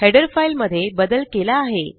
header file मध्ये बदल केला आहे